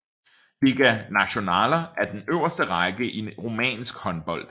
Liga Naţională er den øverste række i rumænsk håndbold